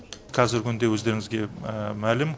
қазіргі күнде өздеріңізге мәлім